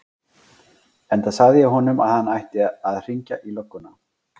Enda sagði ég honum að hann ætti að hringja í lögguna.